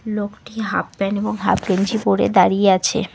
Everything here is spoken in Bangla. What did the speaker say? লোকটি হাফ প্যান্ট এবং হাফ গেঞ্জি পরে দাঁড়িয়ে আছে।